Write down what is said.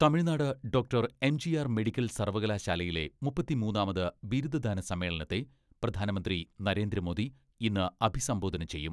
Tamil Nadu doctor MGR medical സർവ്വകലാശാലയിലെ മുപ്പത്തിമൂന്നാമത് ബിരുദദാന സമ്മേളനത്തെ പ്രധാനമന്ത്രി നരേന്ദ്രമോദി ഇന്ന് അഭിസംബോധന ചെയ്യും.